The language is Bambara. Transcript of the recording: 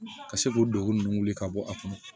Ka se k'o degun ninnu wuli ka bɔ a kɔnɔ